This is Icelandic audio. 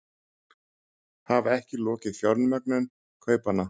Hafa ekki lokið fjármögnun kaupanna